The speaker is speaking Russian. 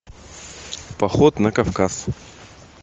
поход на кавказ